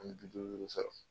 An mi duuru duuru re sɔrɔ